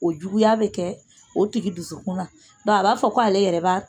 O juguya bɛ kɛ o tigi dusukun na dɔnku a b'a fɔ ko ale yɛrɛ